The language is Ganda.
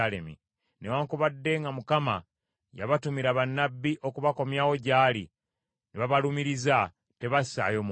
Newaakubadde nga Mukama yabatumira bannabbi okubakomyawo gy’ali, ne babalumiriza, tebassaayo mwoyo.